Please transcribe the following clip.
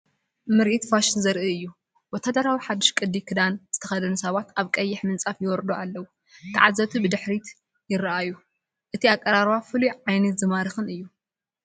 ምርኢት ፋሽን ዘርኢ እዩ፣ ወተሃደራዊ ሓዱሽ ቅዲ ክዳን ዝተኸድኑ ሰባት ኣብ ቀይሕ ምንጻፍ ይወርዱ ኣለዉ። ተዓዘብቲ ብድሕሪት ይረኣዩ። እቲ ኣቀራርባ ፍሉይን ዓይኒ ዝማርኽን እዩ።